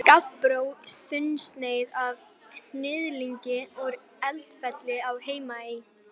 Gabbró, þunnsneið af hnyðlingi úr Eldfelli á Heimaey.